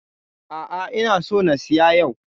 A'a, ina so na siya yau.